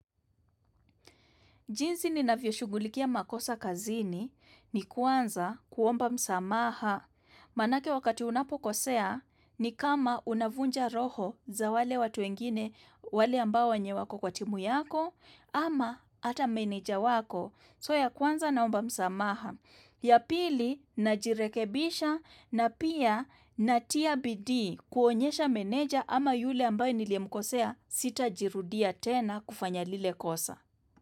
Jinsi ninavyo shughulikia makosa kazini ni, kwanza kuomba msamaha. Maanake wakati unapokosea ni kama unavunja roho za wale watu wengine wale ambao wenye wako kwa timu yako ama hata meneja wako. So ya kuanza naomba msamaha. Ya pili najirekebisha na pia natia bidii kuonyesha meneja ama yule ambaye niliyemkosea sitajirudia tena kufanya lile kosa.